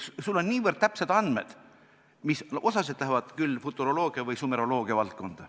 Sul on niivõrd täpsed andmed, mis osaliselt lähevad küll futuroloogia või sumeroloogia valdkonda.